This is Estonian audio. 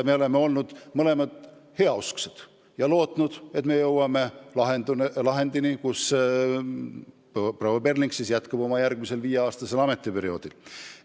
Me oleme mõlemad olnud heausksed ja lootnud, et me jõuame lahendini, mille kohaselt proua Perling jätkab oma ametipostil järgmisel viieaastasel perioodil.